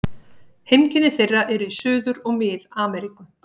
Heimkynni þeirra eru í Suður- og Mið-Ameríku.